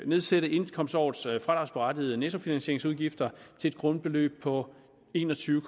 nedsætte indkomstårets fradragsberettigede nettofinansieringsudgifter til et grundbeløb på en og tyve